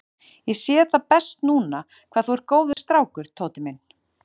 Ég sé það best núna hvað þú ert góður strákur, Tóti minn.